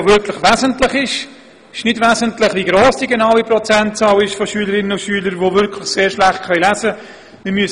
Es ist nicht wesentlich, wie gross die Prozentzahl der Schülerinnen und Schüler genau ist, die sehr schlecht lesen können.